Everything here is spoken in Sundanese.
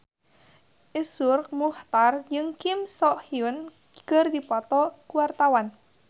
Iszur Muchtar jeung Kim So Hyun keur dipoto ku wartawan